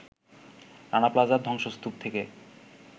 রানা প্লাজার ধ্বংসস্তূপ থেকে